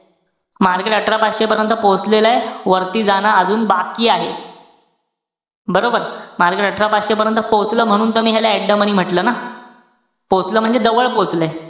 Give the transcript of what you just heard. Market अठरा पाचशे पर्यंत पोहिचलेलय. वरती जाणं अजून बाकी आहे. बरोबर? market अठरा पाचशे पर्यंत पोहोचलेलं, म्हणून त मी ह्याला at the money म्हंटल ना. पोहोचलं म्हणजे जवळ पोचलंय.